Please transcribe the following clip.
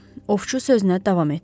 Ovçu sözünə davam etdi.